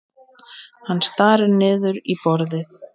Hann starir niður í borðið.